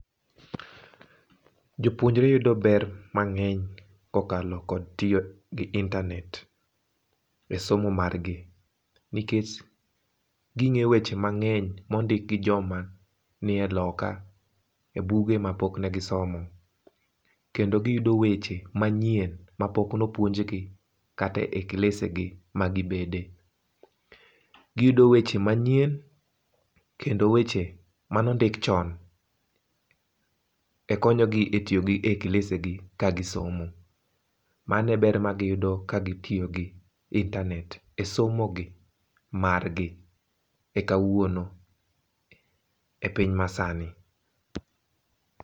Jopuonjre yudo ber mang'eny ko okalo kod tiyo gi internet e somo margi nikech gi ng'e weche mang'eny mo ondik gi jo ma ni e loka e buge ma pok ne gi somo. Kendo gi yudo weche manyien ma pok ne opuonj gi kata e klase gi ma gi bede gi yudo weche manyien kendo weche ma ne ondik chon e konyo gi e tiyo gi e klase gi ka gi somo. Mano e ber ma gi yudo ka gi tiyo gi internet e somo gi, mar gi e kawuono, e piny ma sani.